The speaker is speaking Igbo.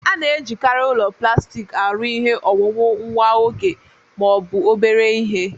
A na-ejikarị ụlọ plastik arụ ihe owuwu nwa oge ma ọ bụ obere ihe